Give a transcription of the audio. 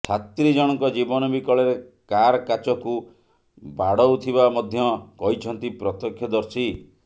ଛାତ୍ରୀ ଜଣଙ୍କ ଜୀବନ ବିକଳରେ କାର କାଚକୁ ବାଡଉ ଥିବା ମଧ୍ୟ କହିଛନ୍ତି ପ୍ରତକ୍ଷ ଦର୍ଶୀ